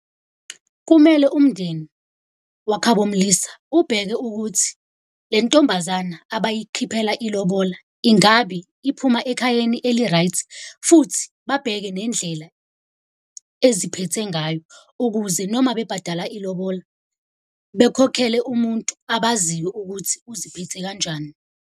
Kumele umndeni wakha bomlisa ubheke ukuthi le ntombazana abayikhiphela ilobola ingabi iphuma ekhayeni eli-right. Futhi babheke nendlela eziphethe ngayo ukuze noma bebhadala ilobola bekhokhele umuntu abaziyo ukuthi uziphethe kanjani.